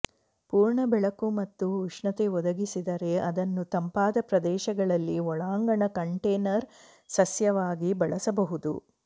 ಪೂರ್ಣ ಬೆಳಕು ಮತ್ತು ಉಷ್ಣತೆ ಒದಗಿಸಿದರೆ ಅದನ್ನು ತಂಪಾದ ಪ್ರದೇಶಗಳಲ್ಲಿ ಒಳಾಂಗಣ ಕಂಟೇನರ್ ಸಸ್ಯವಾಗಿ ಬಳಸಬಹುದು